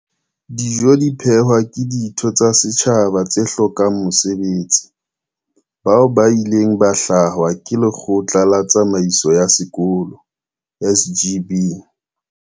Dijo di phehwa ke ditho tsa setjhaba tse hlokang mesebetsi, bao ba ileng ba hlwahwa ke lekgotla la tsamaiso ya sekolo, SGB.